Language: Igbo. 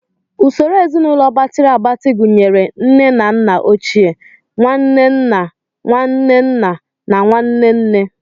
Usoro ezinaụlọ gbatịrị agbatị gụnyere nne na nna ochie, nwanne nna, nwanne nna, na nwanne nne.